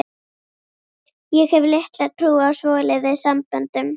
Ég hef litla trú á svoleiðis samböndum.